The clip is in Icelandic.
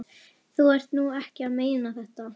Þú ert nú ekki að meina þetta!